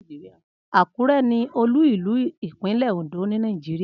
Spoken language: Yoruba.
Akure ni olú ìlú ipinle Ondo ni Nàìjíríà.